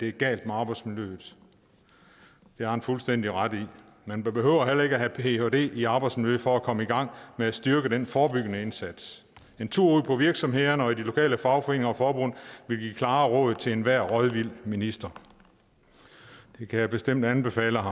er gal med arbejdsmiljøet det har han fuldstændig ret i man behøver heller ikke have en phd i arbejdsmiljø for at komme i gang med at styrke den forebyggende indsats en tur ud på virksomhederne og i de lokale fagforeninger og forbund ville give klare råd til enhver rådvild minister det kan jeg bestemt anbefale